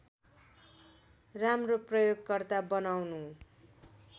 राम्रो प्रयोगकर्ता बनाउनु